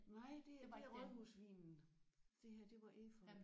Nej det er det er rådhusvinen det her det var efeu